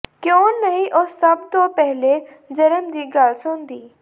ਕਿਓਂ ਨਹੀ ਉਸ ਸਭ ਤੋਂ ਪਹਿਲੇ ਜਨਮ ਦੀ ਗਲ ਸੁਣਦੀ